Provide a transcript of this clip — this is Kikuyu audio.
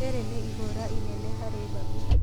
Rĩrĩ nĩ ihũra inene harĩ Babu